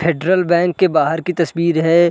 Federal Bank के बाहर की तस्वीर है।